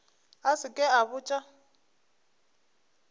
a se ke a botša